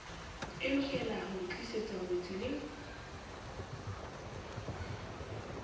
e lokelaho ntlisetsa ngwetsi le